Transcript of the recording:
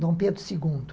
Dom Pedro segundo